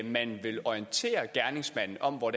man vil orientere gerningsmanden om hvor